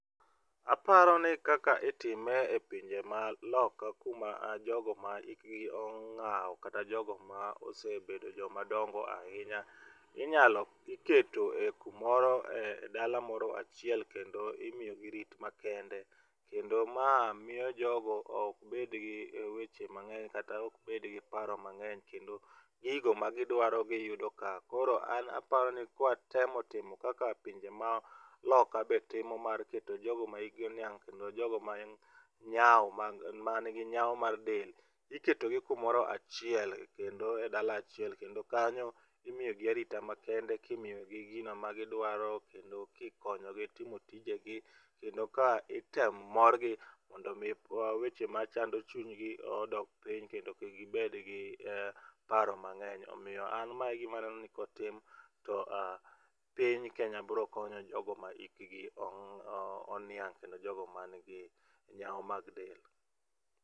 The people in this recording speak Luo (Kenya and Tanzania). Aparoni ni kaka itime e pinje maloka kuma jogo ma hikgi ong'aw kata jogo ma osebedo joma dongo ahinya, inyalo, iketo e kumoro e dala moro achiel kendo imiyo gi rit makende kendo ma miyo jogo ok bedgi weche mangeny kata ok bedgi paro mangeny kendo gigo ma gidwaro giyudo ka. Koro aparoni ka watemo timo kaka pinje maloka be timo mar keto jogo ma hikgi oniang' kendo jogo ma nyao, manigi nyao mar del, iketogi kumoro achiel kendo e dala achiel kendo kanyo imiyo gi arita ma kende kimiyo gi gino magidwaro kendo kikonyogi timo tijegi kendo ka item morgi mondo mi weche machando chunygi odok piny kendo kik gibed gi paro mangeny. Omiyo an ma egima aneno ni kotim to piny Kenya biro konyo jogo ma hikgi oniang' kendo jogo man gi nyao mag del